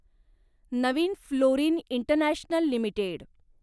Naveen fluorine international limited